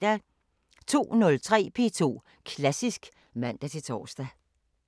02:03: P2 Klassisk (man-tor)